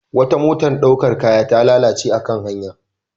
Wata motar ɗaukan kaya ta lalace a kan hanya.